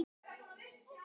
Örn á alla mína samúð.